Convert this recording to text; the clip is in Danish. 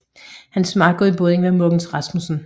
Hans makker i båden var Mogens Rasmussen